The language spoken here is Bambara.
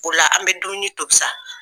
O la an bɛ dumunini tobi sa.